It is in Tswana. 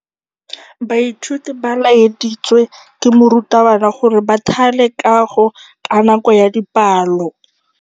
Baithuti ba laeditswe ke morutabana gore ba thale kagô ka nako ya dipalô.